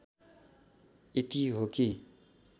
यति हो कि